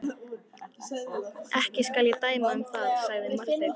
Ekki skal ég dæma um það, sagði Marteinn.